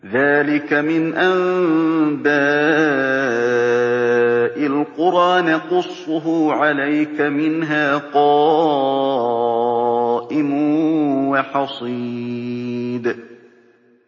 ذَٰلِكَ مِنْ أَنبَاءِ الْقُرَىٰ نَقُصُّهُ عَلَيْكَ ۖ مِنْهَا قَائِمٌ وَحَصِيدٌ